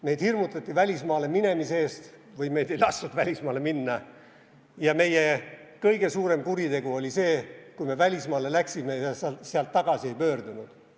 Meid hirmutati välismaale minemise eest või meid ei lastud välismaale minna ja meie kõige suurem kuritegu oli see, kui me läksime välismaale ja sealt tagasi ei pöördunud.